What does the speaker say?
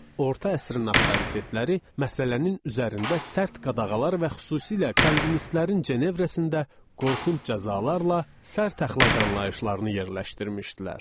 Orta əsrin avtoritetləri məsələnin üzərində sərt qadağalar və xüsusilə kalvinistlərin Cenevrəsində qorxunc cəzalarla sərt əxlaq anlayışlarını yerləşdirmişdilər.